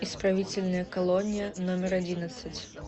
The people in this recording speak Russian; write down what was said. исправительная колония номер одиннадцать